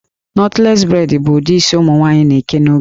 Knotless braid bụ ụdị isi ụmụ nwaanyị na-eke n'oge a